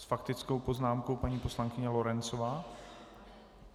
S faktickou poznámkou paní poslankyně Lorencová.